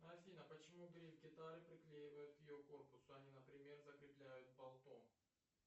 афина почему гриф гитары приклеивают к ее корпусу а не например закрепляют болтом